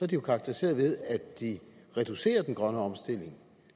de jo karakteriseret ved at de reducerer den grønne omstilling